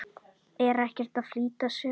Er ekkert að flýta sér.